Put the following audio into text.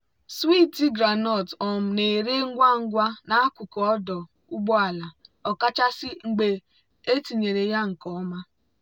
swiiti groundnut um na-ere ngwa ngwa n'akụkụ ọdụ ụgbọ ala ọkachasị mgbe etinyere ya nke ọma.